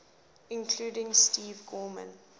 including steve gorman